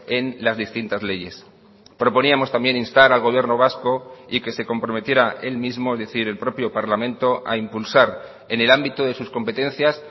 en las distintas leyes proponíamos también instar al gobierno vasco y que se comprometiera él mismo es decir el propio parlamento a impulsar en el ámbito de sus competencias